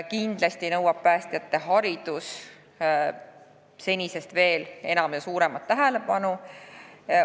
Kindlasti nõuab päästjate haridus senisest veel suuremat tähelepanu.